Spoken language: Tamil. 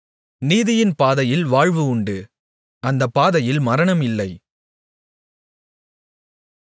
நீதியின் பாதையில் வாழ்வு உண்டு அந்தப் பாதையில் மரணம் இல்லை